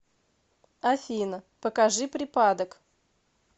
афина покажи припадок